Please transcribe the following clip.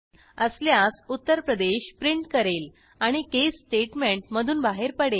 असल्यास उत्तर प्रदेश प्रिंट करेल आणि केस स्टेटमेंट मधून बाहेर पडेल